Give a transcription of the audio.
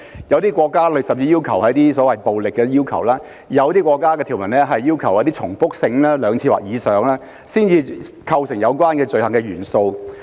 有些國家甚至要求要有暴力的元素，又有些國家講求相關行為的重複性，要有兩次或以上才構成犯罪元素。